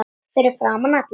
Fyrir framan alla?